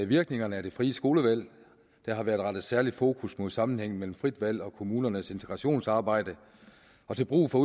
virkningerne af det frie skolevalg der har været rettet særligt fokus på sammenhængen mellem frit valg og kommunernes integrationsarbejde og til brug for